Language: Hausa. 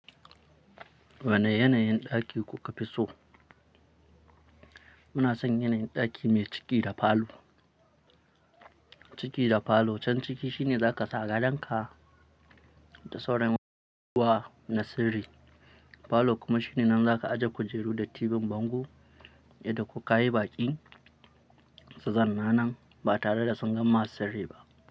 Wane yanayin ɗaki kuka fi so? Muna son yanayin ɗaki mai ciki da falo. Ciki da falo, can ciki shine zaka sa gadonka da sauran masu zuwa na sirri, falo kuma shine nan zaka ajiye kujeru da tibin bango yadda kokayi baƙi su zanna nan ba tare da sun gan ma sirri ba.